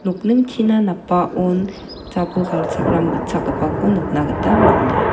nokningchina napbaon jabol galchakram gitchakgipako nikna gita man·a.